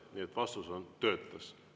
Nii et vastus on, et töötas.